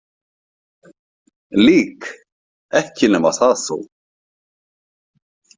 Lík, ekki nema það þó!